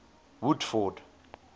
woodford